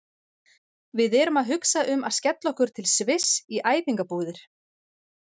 Við erum að hugsa um að skella okkur til Sviss í æfingabúðir.